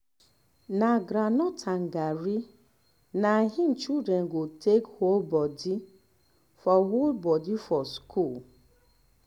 na groundnut and garri na im children go take hold body for hold body for school